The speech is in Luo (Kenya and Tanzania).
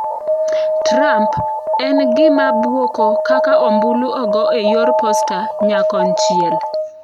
Trump: "en gima bwoko kaka ombulu ogo e yor posta nyakonchiel."